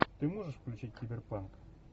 ты можешь включить киберпанк